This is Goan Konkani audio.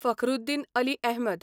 फखरुद्दीन अली अहमद